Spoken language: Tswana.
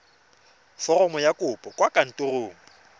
foromo ya kopo kwa kantorong